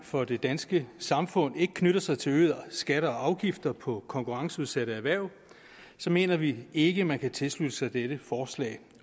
for det danske samfund ikke knytter sig til øgede skatter og afgifter på konkurrenceudsatte erhverv mener vi ikke at man kan tilslutte sig dette forslag